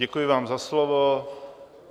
Děkuji vám za slovo.